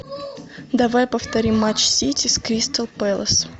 давай повторим матч сити с кристал пэлас